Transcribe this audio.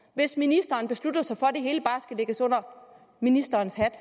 hvis ministeren beslutter sig for at det hele bare skal lægges under ministerens hat